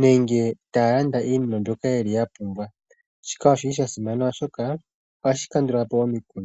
nenge taya landa iinima mbyoka yeli ya pumbwa, shika oshili sha simana oshoka ohashi kandula po omikundu.